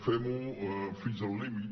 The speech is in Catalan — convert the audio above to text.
fem ho fins al límit